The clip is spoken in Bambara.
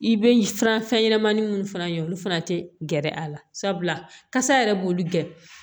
I bɛ furan fɛn ɲɛnɛmani minnu fana ye olu fana tɛ gɛrɛ a la sabula kasa yɛrɛ b'olu gɛn